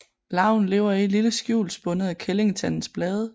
Larven lever i et lille skjul spundet af kællingetandens blade